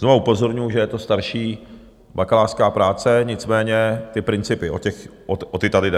Znovu upozorňuju, že je to starší bakalářská práce, nicméně ty principy, o ty tady jde.